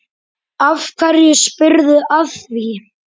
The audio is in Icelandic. Af hverju spyrðu að því?